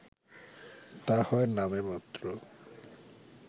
তা হয় নামেমাত্র